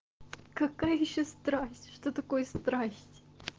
какая ещё страсть что такое страсть